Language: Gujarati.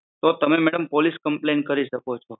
તો તમે મેડમ પોલીસ કમ્પ્લેન કરી શકો છો